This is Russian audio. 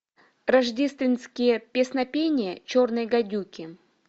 рождественские песнопения черной гадюки